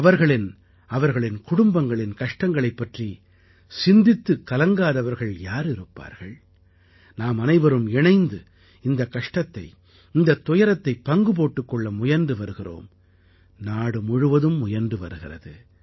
அவர்களின் அவர்களின் குடும்பங்களின் கஷ்டங்களைப் பற்றி சிந்தித்துக் கலங்காதவர்கள் யார் இருப்பார்கள் நாமனைவரும் இணைந்து இந்தக் கஷ்டத்தை இந்தத் துயரத்தைப் பங்கு போட்டுக் கொள்ள முயன்று வருகிறோம் நாடு முழுவதும் முயன்று வருகிறது